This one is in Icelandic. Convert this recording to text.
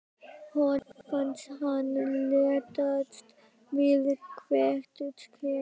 Honum fannst hann léttast við hvert skref.